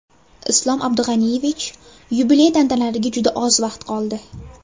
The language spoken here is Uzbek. Islom Abdug‘aniyevich, yubiley tantanalariga juda oz vaqt qoldi.